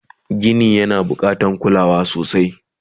Gini yana bukatan kulawa sosai